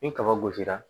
Ni kaba gosira